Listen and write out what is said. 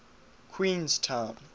queenstown